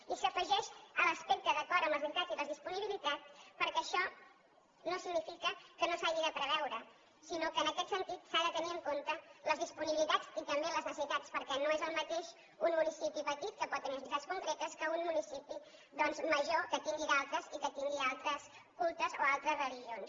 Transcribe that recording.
i s’afegeix l’aspecte d’acord amb les necessitats i les disponibilitats perquè això no significa que no s’hagi de preveure sinó que en aquest sentit s’han de tenir en compte les disponibilitats i també les necessitats perquè no és el mateix un municipi petit que pot tenir unes necessitats concretes que un municipi doncs major que en tingui d’altres i que tingui altres cultes o altres religions